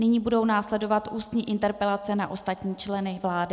Nyní budou následovat ústní interpelace na ostatní členy vlády.